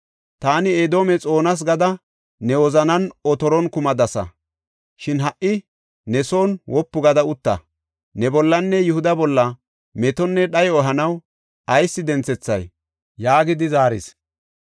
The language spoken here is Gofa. ‘Taani Edoome xoonas’ gada ne wozanan otoron kumadasa. Shin ha77i ne son wopu gada utta; ne bollanne Yihuda bolla metonne dhayo ehanaw ayis denthethay?” yaagidi zaaris.